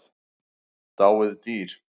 Dáið dýr.